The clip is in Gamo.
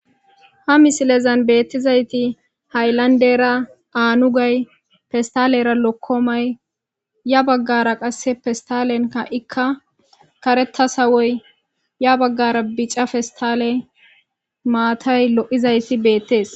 ha misilezan beettizayti hayllandera anugay festalera lokkomay ya baggara qasse festalenka ikka kareta sawoy ya baggara bica festale maatay lo'izaysi beettees